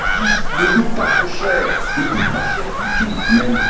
Ils existent et ne coûtent pas trop cher, ne coûtent pas cher du tout même.